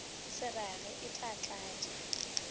se rage e tla tlatša